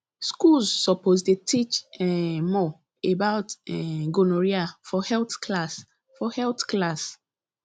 schools suppose dey teach um more about um gonorrhea for health class for health class